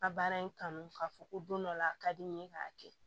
A baara in kanu k'a fɔ ko don dɔ la a ka di n ye k'a kɛ